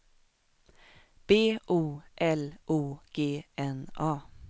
B O L O G N A